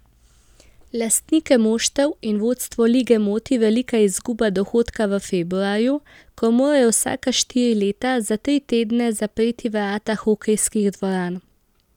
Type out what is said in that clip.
Lastnike moštev in vodstvo lige moti velika izguba dohodka v februarju, ko morajo vsaka štiri leta za tri tedne zapreti vrata hokejskih dvoran.